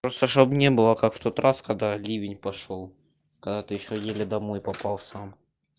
просто чтобы не было как в тот раз когда ливень пошёл когда ты ещё еле домой попал сам